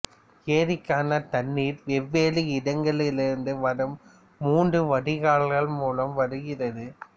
ஏரிக்கான தண்ணீர் வெவ்வேறு இடங்களிலிருந்து வரும் மூன்று வடிகால்கள் மூலம் வருகிறது